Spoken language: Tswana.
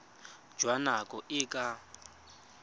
jwa nako e e ka